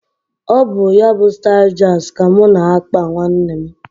Ọ bụ, ya bụ stailu shags ka mụ na – akpa nwanne m